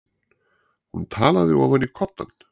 Hún talaði ofan í koddann.